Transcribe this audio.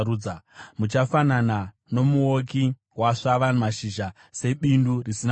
Muchafanana nomuouki wasvava mashizha, sebindu risina mvura.